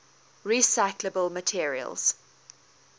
recyclable materials